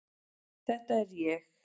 Þetta er ég.